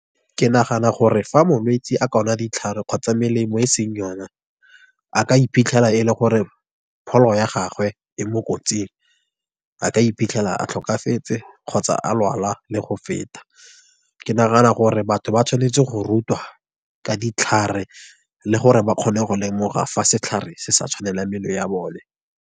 Ke nagana gore fa molwetsi a ka nwa ditlhare kgotsa melemo e seng yone, a ka iphitlhela e le gore pholo ya gagwe e mo kotsing. A ka iphitlhela a tlhokafetse, kgotsa a lwala le go feta. Ke nagana gore batho ba tshwanetse go rutwa ka ditlhare, le gore ba kgone go lemoga fa setlhare se sa tshwanelang mmele ya bone.